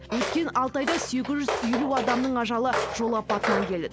өткен алты айда сегіз жүз елу адамның ажалы жол апатынан келді